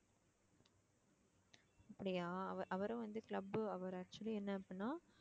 அப்படியா அவ~ அவரும் வந்து club அவரு actually என்ன அப்படின்னா